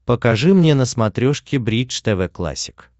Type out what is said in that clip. покажи мне на смотрешке бридж тв классик